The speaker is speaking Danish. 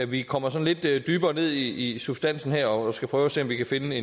vi kommer sådan lidt dybere ned i substansen her og skal prøve at se om vi kan finde